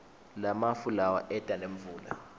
lamafu lawa eta nemvula